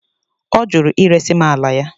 Ọ jụrụ iresi m ala ya.